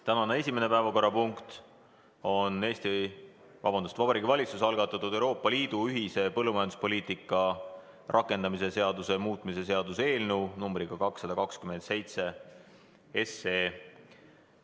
Tänane esimene päevakorrapunkt on Vabariigi Valitsuse algatatud Euroopa Liidu ühise põllumajanduspoliitika rakendamise seaduse muutmise seaduse eelnõu 227 kolmas lugemine.